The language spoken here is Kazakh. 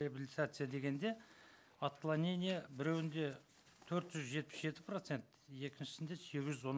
реабилитация дегенде отклонение біреуінде төрт жүз жетпіс жеті процент екіншісінде сегіз жүз он